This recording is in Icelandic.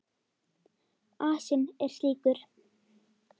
Asinn er slíkur.